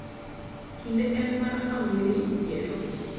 kinde en mar famili yiero